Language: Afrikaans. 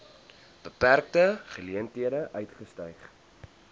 beperkte geleenthede uitgestyg